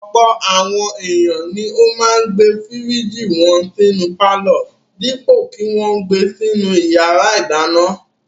Ọ̀pọ̀ àwọn ènìyàn ni ó máa ń gbé fíríjì wọn sínú pálọ̀ dípò kí wọn gbe sínú ìyàrá-ìdáná.